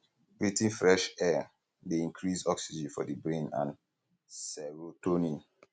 breathing fresh air um dey um increase um oxygen for di brain and serotonin